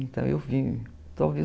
Então, eu vim.